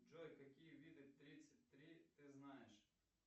джой какие виды тридцать три ты знаешь